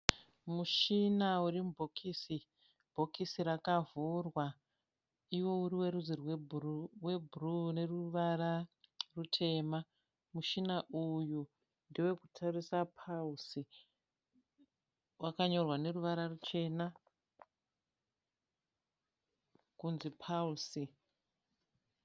Mushina uri mubhokisi, bhokisi rakavhurwa. Iwo uriwerudzi rwe bhuruu neruvara rutema. Mushina uyu ndewekutoresa pulse. Waka nyorwa neruvara ruchena kunzi pulse.